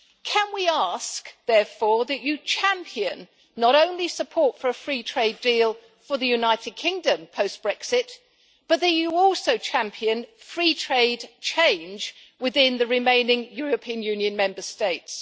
Can we ask, therefore, that you champion not only support for a free-trade deal for the United Kingdom post Brexit, but that you also champion free trade change within the remaining European Union Member States?